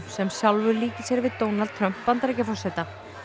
sem sjálfur líkir sér við Donald Trump Bandaríkjaforseta